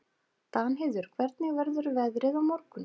Danheiður, hvernig verður veðrið á morgun?